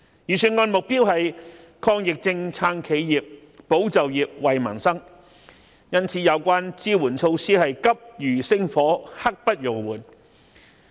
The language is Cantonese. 預算案以抗疫症、撐企業、保就業、惠民生為目標，因此有關的支援措施是急如星火、刻不容緩。